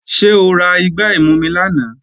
Ṣé o ra igbá ìmumi lánàá?